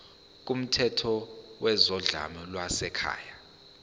kumthetho wezodlame lwasekhaya